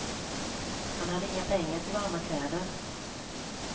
Han hade inga pengar till varma kläder.